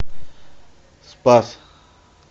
спас